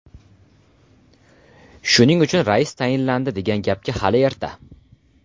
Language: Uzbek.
Shuning uchun rais tayinlandi degan gapga hali erta”.